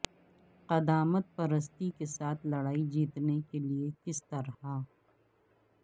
قدامت پرستی کے ساتھ لڑائی جیتنے کے لئے کس طرح